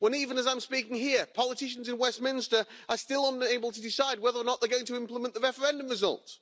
Even as I'm speaking here, politicians in Westminster are still unable to decide whether or not they're going to implement the referendum result.